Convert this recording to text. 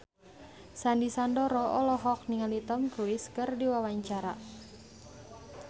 Sandy Sandoro olohok ningali Tom Cruise keur diwawancara